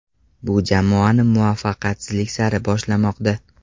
Bu jamoani muvaffaqiyatsizlik sari boshlamoqda.